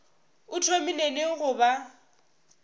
o thomile neng go ba